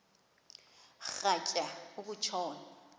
rhatya uku tshona